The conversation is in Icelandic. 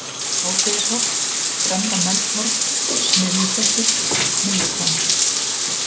Hádegisholt, Fremra-Melshorn, Smiðjuklettur, Mylluhvammur